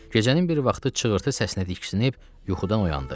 Gecənin bir vaxtı çığırtı səsinə diksinib yuxudan oyandı.